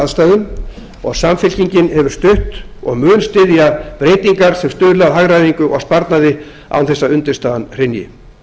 aðstæðum og samfylkingin hefur stutt og mun styðja breytingar sem stuðla að hagræðingu og sparnaði án þess að undirstaðan hrynji